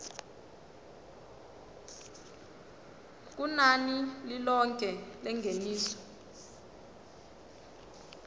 kunani lilonke lengeniso